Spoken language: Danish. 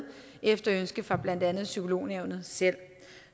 efter ønske fra blandt andet psykolognævnet selv